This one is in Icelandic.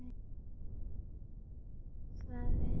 Hvað vilja þeir fyrir snúð sinn?